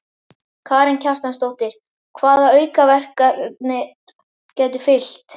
Karen Kjartansdóttir: Hvaða aukaverkanir gætu fylgt?